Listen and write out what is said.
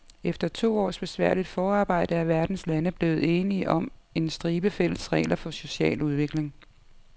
Efter to års besværligt forarbejde er verdens lande blevet enige om en stribe fælles regler for social udvikling.